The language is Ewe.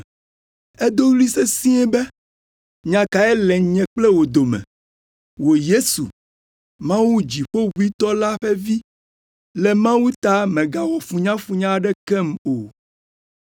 Edo ɣli sesĩe be, “Nya kae le nye kple wò dome, wò Yesu, Mawu Dziƒoʋĩtɔ la ƒe Vi? Le Mawu ta mègawɔ funyafunya aɖekem o!”